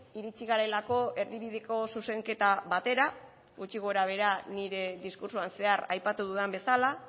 iritsi garelako erdibideko zuzenketa batera gutxi gorabehera nire diskurtsoan zehar aipatu dudan bezala